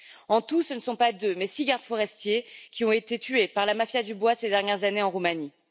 En tout, ce ne sont pas deux mais six gardes forestiers qui ont été tués par la mafia du bois ces dernières années en Roumanie.